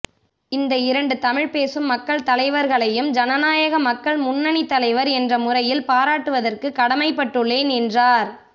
இந்த இரண்டு தமிழ் பேசும் மக்கள் தலைவர்களையும் ஜனநாயக மக்கள் முன்னணி தலைவர் என்ற முறையில் பாராட்டுவதற்கு கடமைப்பட்டுள்ளேன் என்றார்